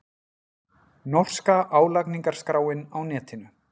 Norska álagningarskráin á netinu